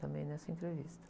Também nessa entrevista.